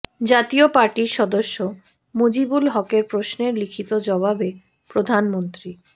জাতীয় পার্টির সদস্য মুজিবুল হকের প্রশ্নের লিখিত জবাবে প্রধানমন্ত্রী